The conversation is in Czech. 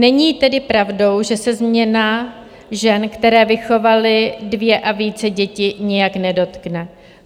Není tedy pravdou, že se změna žen, které vychovaly dvě a více děti, nijak nedotkne.